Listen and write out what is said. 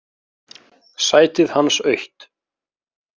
Sætið hans autt.